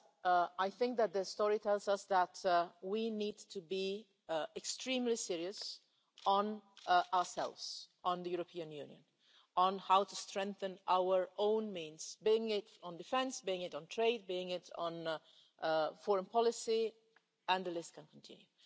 But I think that history tells us that we need to be extremely serious as regards ourselves, the European Union, and how to strengthen our own means, be it on defence, be it on trade, be it on foreign policy, and the list can continue.